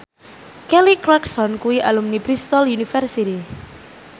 Kelly Clarkson kuwi alumni Bristol university